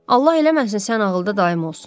Allah eləməsin sən ağılda dayım olsan.